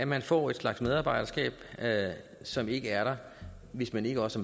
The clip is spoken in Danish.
man får en slags medarbejderskab som ikke er der hvis man ikke også